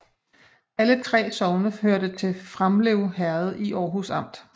Alle 3 sogne hørte til Framlev Herred i Aarhus Amt